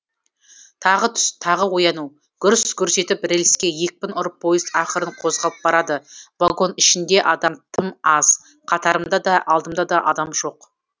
тағы түс тағы ояну гүрс гүрс етіп рельске екпін ұрып поезд ақырын қозғалып барады вагон ішінде адам тым аз қатарымда да алдымда да адам жоқ